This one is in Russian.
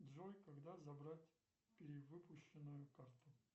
джой когда забрать перевыпущенную карту